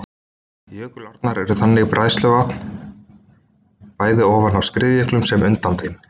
Jökulárnar eru þannig bræðsluvatn, bæði ofan af skriðjöklum sem undan þeim.